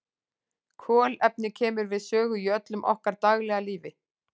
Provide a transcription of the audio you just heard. Kolefni kemur við sögu í öllu okkar daglega lífi.